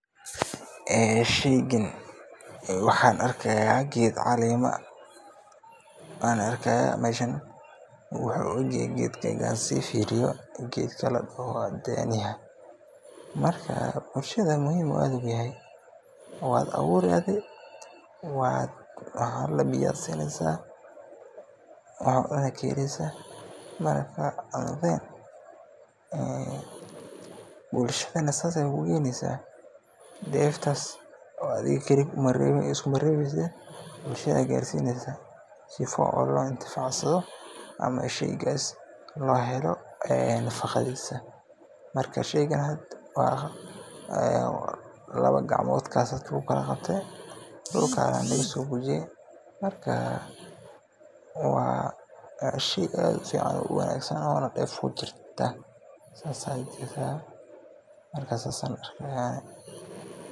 Sheygan waxan arkaya ged calemo wuxu uegye markan sifiriyo gedka ladoho daniyada marka bulshada aad ayu muhiim oguyahay wad aburi adii biyad sineysa waxad cuni kaheleysa marka bulshada sidas aya kugeneysa oo deftas adiga kaliya iskumarebeyside bulshada ayad sineysa sifa oo laintifacsado oo sheyga lohelo nafaqadisa marka sheyga wa lawo gacmod aya luguqabte dhulka aya lagasofujiye marka wa shey aad ufican oo wanagsan oo deef kujirta marka sidas ayan arka.